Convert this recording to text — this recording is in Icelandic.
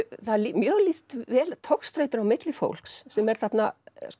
mjög lýst vel togstreitunni á milli fólks sem er þarna